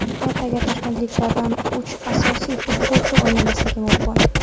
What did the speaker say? Ertaga toshkentliklardan uch asosiy futbolchi o‘ynamasligi mumkin.